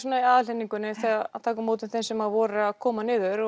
aðhlynningunni að taka á móti þeim sem voru að koma niður